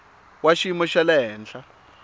wa xiyimo xa le henhla